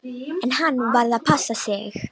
En hann varð að passa sig.